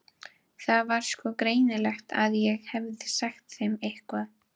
Það var sko greinilegt að ég hefði sagt þeim eitthvað.